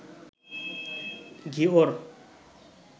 Ghior